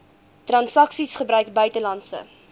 transaksies gebruik buitelandse